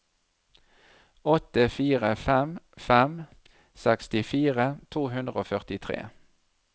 åtte fire fem fem sekstifire to hundre og førtitre